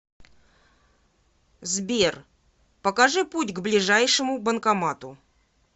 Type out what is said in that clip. сбер покажи путь к ближайшему банкомату